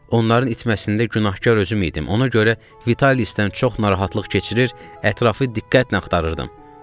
Onların itməsində günahkar özüm idim, ona görə Vitalisdən çox narahatlıq keçir, ətrafı diqqətlə axtarırdım.